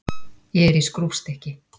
Ég er í skrúfstykki.